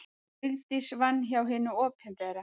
Vigdís vann hjá hinu opinbera.